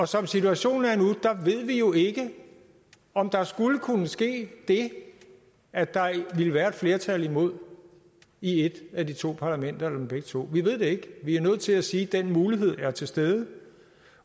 som situationen er nu ved vi jo ikke om der skulle kunne ske det at der vil være et flertal imod i et af de to parlamenter dem begge to vi ved det ikke vi er nødt til at sige at den mulighed er til stede